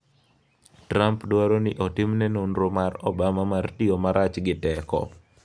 Trump dwaro ni otimne nonro mar Obama mar tiyo marach gi teko